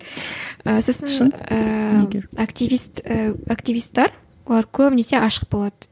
ыыы сосын активист ііі активистер олар көбінесе ашық болады